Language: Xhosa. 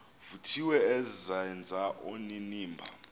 vuthiwe azenze onenimba